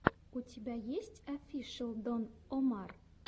у тебя есть офишел дон омар